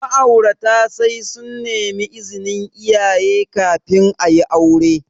Ma'aurata sai sun nemi izinin iyaye kafin ayi aure.